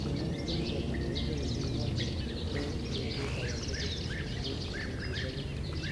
Kimwa Shem kole makibendi ngwony eng betut age tugul amu kikiligei.